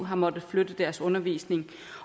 har måttet flytte deres undervisning